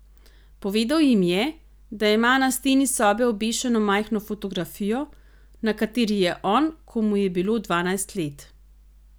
Povedal jim je, da ima na steni sobe obešeno majhno fotografijo, na kateri je on, ko mu je bilo dvanajst let.